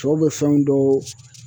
Cɛw bɛ fɛnw dɔw